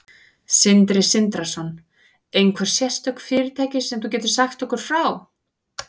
Sindri Sindrason: Einhver sérstök fyrirtæki sem þú getur sagt okkur frá?